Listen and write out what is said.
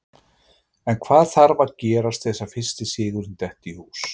En hvað þarf að gerast til að fyrsti sigurinn detti í hús?